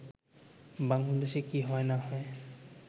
“বাংলাদেশে কি হয় না হয়